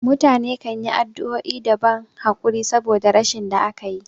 Mutane kanyi addu'o'i da ban hakuri saboda rashin da akayi